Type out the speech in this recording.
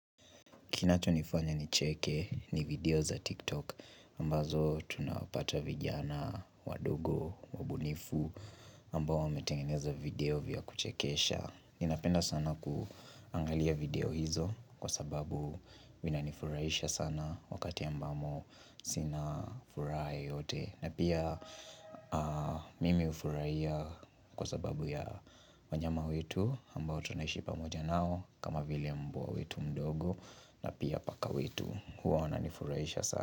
Kinachonifanya nicheke ni video za tiktok. Ambazo tunapata vijana wadogo, wabunifu ambao wametengeneza video vya kuchekesha. Ninapenda sana kuangalia video hizo kwa sababu Vinanifurahisha sana wakati ambamo sina furaha yeyote na pia, mimi hufurahia kwa sababu ya wanyama wetu ambao tunaishi pamoja nao, kama vile mbwa wetu mdogo na pia paka wetu. Huwa wananifurahisha sana.